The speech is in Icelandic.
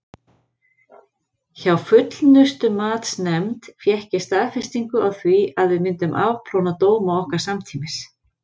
Hjá Fullnustumatsnefnd fékk ég staðfestingu á því að við myndum afplána dóma okkar samtímis.